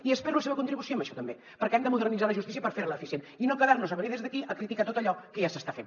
i espero la seva contribució en això també perquè hem de modernitzar la justícia per fer la eficient i no quedar nos a venir des d’aquí a criticar tot allò que ja s’està fent